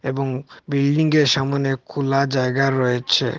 এবং বিল্ডিংয়ের সামোনে খোলা জায়গা রয়েছে।